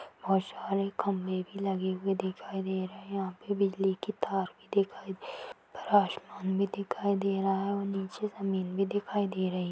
बहोत सारे खंभे भी लगे हुए दिखाई दे रहे है यहाँ पे बिजली के तार भी दिखाई ऊपर आसमान भी दिखाई दे रहा है और नीचे जमीन भी दिखाई दे रही--